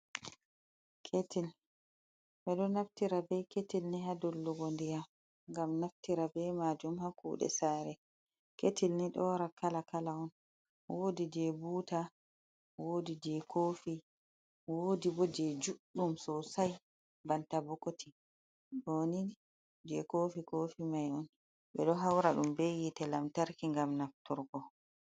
Ɓe ɗo naftira be ketil ni ha dollugo ndiyam, ngam naftira be maajum ha kuɗe sare. Ketil ni do wara kala-kala on. Woodi je buta, woodi jei kofi, woodi bo je juɗɗum sosai banta bokoti. Ɗo ni je kofi-kofi mai on. Ɓe ɗo haura ɗum be yiite lamtarki ngam nafturgo.